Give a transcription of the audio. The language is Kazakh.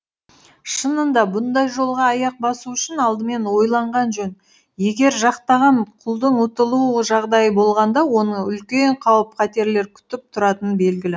шынында бұндай жолға аяқ басу үшін алдымен ойланған жөн егер жақтаған құлдың ұтылу жағдайы болғанда оны үлкен қауіп қатерлер күтіп тұратыны белгілі